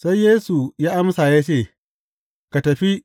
Sai Yesu ya amsa ya ce, Ka tafi.